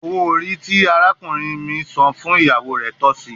Owo ori ti arakunrin mi san fun iyawo re tọsi